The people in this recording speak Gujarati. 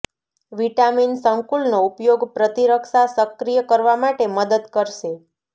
વિટામિન સંકુલનો ઉપયોગ પ્રતિરક્ષા સક્રિય કરવા માટે મદદ કરશે